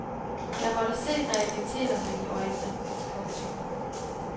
Jeg måtte se realiteterne i øjnene. punktum